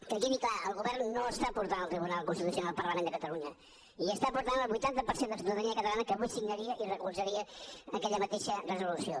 que quedi clar el govern no està portant al tribunal constitucional el parlament de catalunya hi està portant el vuitanta per cent de la ciutadania catalana que avui signaria i recolzaria aquella mateixa resolució